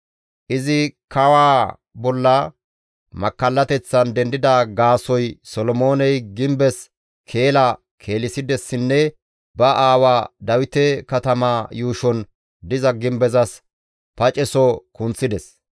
Izi kawaa bolla makkallateththan dendida gaasoykka Solomooney gimbes keela keelissidessinne ba aawaa Dawite katamaa yuushon diza gimbezas paceso kunththides.